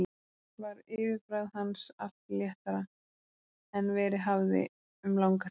Var yfirbragð hans allt léttara en verið hafði um langa hríð.